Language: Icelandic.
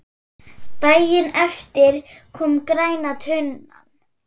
Daginn eftir kom græna tunnan.